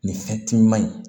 Nin fɛn ti ɲuman in